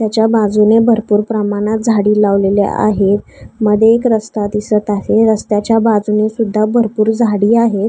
त्याच्या बाजूने भरपूर प्रमाणात झाडे लावलेली आहेत मध्ये एक रस्ता दिसत आहे रस्त्याच्या बाजूने सुद्धा भरपूर झाडी आहेत.